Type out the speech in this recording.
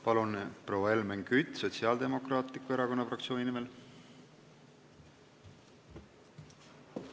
Palun nüüd, proua Helmen Kütt Sotsiaaldemokraatliku Erakonna fraktsiooni nimel!